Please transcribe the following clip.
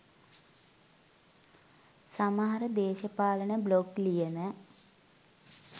සමහර දේශපාලන බ්ලොග් ලියන